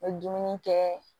N bɛ dumuni kɛ